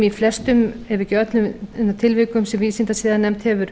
í flestum ef ekki öllum tilvikum sem vísindasiðanefnd hefur